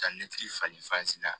Ka nekili fali la